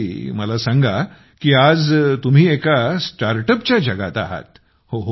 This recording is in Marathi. अच्छा मला सांगा की आज तुम्ही एका StartUpच्या जगात आहात